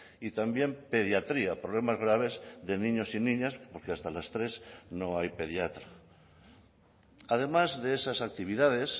y también pediatría problemas graves de niños y niñas porque hasta las tres no hay pediatra además de esas actividades